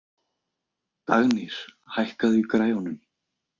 Dagnýr, hækkaðu í græjunum.